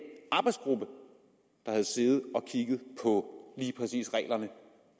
arbejdsgruppe der havde siddet og kigget på lige præcis reglerne